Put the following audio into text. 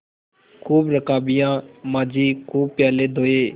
खूब रकाबियाँ माँजी खूब प्याले धोये